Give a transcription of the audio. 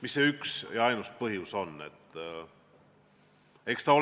Mis see üks ja ainus põhjus on?